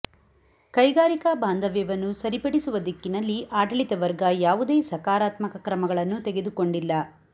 ಕೈಗಾರಿಕಾ ಬಾಂಧವ್ಯವನ್ನು ಸರಿಪಡಿಸುವ ದಿಕ್ಕಿನಲ್ಲಿ ಆಡಳಿತ ವರ್ಗ ಯಾವುದೇ ಸಕಾರಾತ್ಮಕ ಕ್ರಮಗಳನ್ನು ತೆಗೆದುಕೊಂಡಿಲ್ಲ